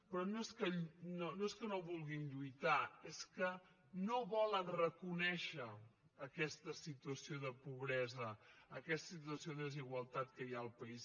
però no és que no vulguin lluitar és que no volen reconèixer aquesta situació de pobresa aquesta situació de desigualtat que hi ha al país